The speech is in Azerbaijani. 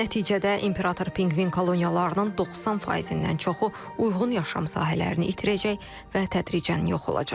Nəticədə imperator pinqvin koloniyalarının 90%-dən çoxu uyğun yaşam sahələrini itirəcək və tədricən yox olacaq.